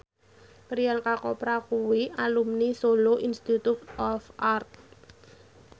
Priyanka Chopra kuwi alumni Solo Institute of Art